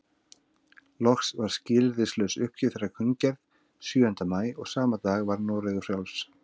Loks var skilyrðislaus uppgjöf þeirra kunngerð sjöunda maí og sama dag var Noregur frjáls.